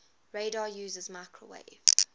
radar uses microwave